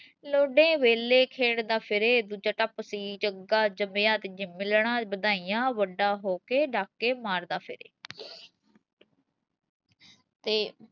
ਲੋਡੇ ਵੇਲੇ ਖੇਡਦਾ ਫਿਰੇ ਦੂਜਾ ਟੱਪ ਸੀ ਜੱਗਾ ਜੰਮਿਆ ਤੇ ਮਿਲਣ ਵਾਧਾਈਆਂ ਵੱਡਾ ਹੋ ਕੇ ਡਾਕੇ ਮਾਰਦਾ ਫਿਰੇ ਤੇ